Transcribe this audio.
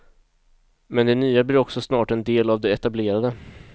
Men det nya blir också snart en del av det etablerade.